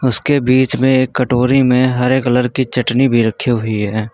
उसके बीच में एक कटोरी में हरे कलर की चटनी भी रखी हुई है।